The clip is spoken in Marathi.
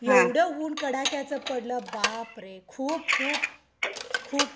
एवढं ऊन कडाक्याचं पडलं बाप रे! खूप खुप खूप